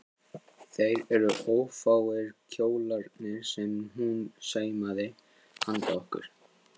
Þeir eru ófáir kjólarnir sem hún saumaði handa okkur